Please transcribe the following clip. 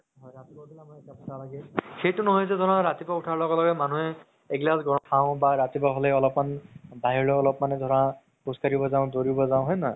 ৰাতিপুৱা উথিলে আমাৰ একাপ চাহ লাগে সেইটো নহয় যে ধৰা ৰাতিপুৱা উথাৰ লগে লগে মানুহে এহিলাচ খাও বা ৰাতিপুৱা হ'লে অলপমান বাহিৰলে অলপ মানে ধৰা খোজ কাঢ়িব যাও দৌৰিব যাও হয় নে নহয়